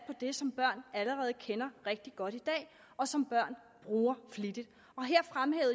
det som børn allerede kender rigtig godt i dag og som børn bruger flittigt